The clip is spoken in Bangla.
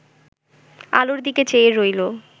আলোর দিকে চেয়ে রইল